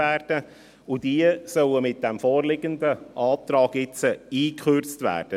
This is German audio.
Diese sollen mit vorliegendem Antrag nun eingekürzt werden.